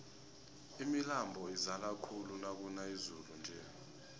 imilambo izala khulu nakuna izulu nje